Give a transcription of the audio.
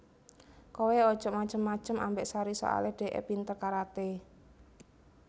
Kowe ojok macem macem ambek Sari soale dekke pinter karate